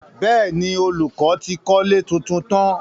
Bẹ́ẹ̀ni, olùkọ́ ti kọ́lé tuntun tán.